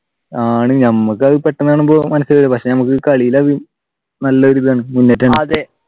ആണ് ഞമ്മക്ക് അത് പെട്ടെന്നു കാണുമ്പോൾ മനസിലാവൂല പക്ഷെ നമുക്ക് കളിയിൽ അത് നല്ലൊരുയിതാണ്